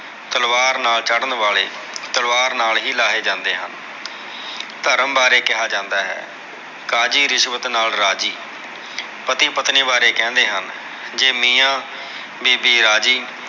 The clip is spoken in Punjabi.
ਤਲਵਾਰ ਨਾਲ ਚੜ੍ਹਨ ਵਾਲੇ, ਤਲਵਾਰ ਨਾਲ ਹੀ ਲਾਹੇ ਜਾਂਦੇ ਹਨ। ਧਰਮ ਬਾਰੇ ਕਿਹਾ ਜਾਂਦਾ ਹੈ, ਕਾਜੀ ਰਿਸ਼ਵਤ ਨਾਲ ਰਾਜੀ। ਪਤੀ ਪਤਨੀ ਬਾਰੇ ਕਹਿੰਦੇ ਹਨ। ਜੇ ਮੀਆਂ ਬੀਬੀ ਰਾਜੀ